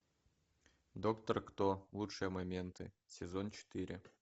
доктор кто лучшие моменты сезон четыре